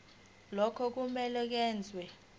lokhu kumele kwenziwe